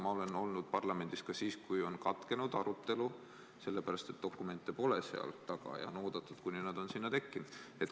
Ma olen olnud parlamendis ka siis, kui arutelu on katkenud selle pärast, et dokumente seal taga pole ja on oodatud, kuni nad on sinna tekkinud.